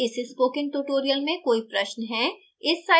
क्या आपको इस spoken tutorial में कोई प्रश्न है